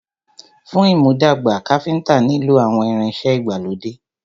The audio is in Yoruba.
Fún ìmúdàgbà, Káfíntà nilo àwọn ìrìn ìṣe ìgbàlódé.